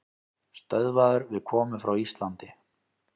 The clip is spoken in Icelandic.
Stöðvaður við komu frá Íslandi